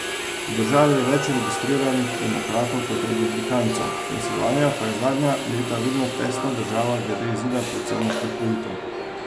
V državi je več registriranih demokratov kot republikancev, Pensilvanija pa je zadnja leta vedno tesna država glede izida predsedniških volitev.